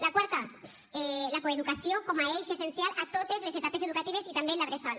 la quarta la coeducació com a eix essencial a totes les etapes educatives i també en la bressol